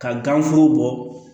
Ka gan foro bɔ